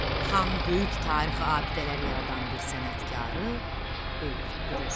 Xan böyük tarixi abidələr yaradan bir sənətkarı öldürdürür.